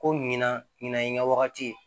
Ko ɲina ɲinɛ i ŋa wagati ye